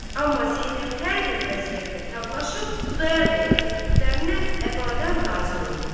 amma Zeynəb hər bir əziyyətlə tablaşıb, Xudayar bəyin təkliflərinə əbədən razı olmurdu.